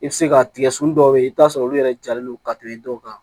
I bɛ se ka tigɛ sun dɔw bɛ yen i bɛ t'a sɔrɔ olu yɛrɛ jalen no ka tɛmɛ dɔw kan